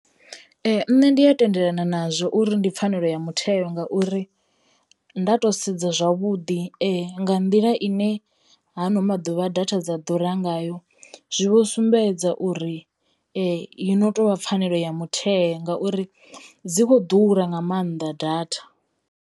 Ee nṋe ndi a tendelana nazwo uri ndi pfhanelo ya mutheo ngauri nda to sedza zwavhuḓi nga nḓila i ne hano maḓuvha data dza ḓura ngayo zwi vho sumbedza uri yo no tovha pfhanelo ya mutheo ngauri dzi kho ḓura nga maanḓa data.